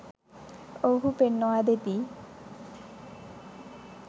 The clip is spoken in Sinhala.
ඔවුහු පෙන්වා දෙති